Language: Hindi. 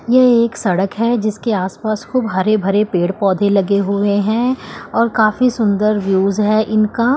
ये एक सड़क है जिसके आस पास खूब हरे भरे पेड़ पौधे लगे हुए हैं और काफी सुंदर व्यूज है इनका।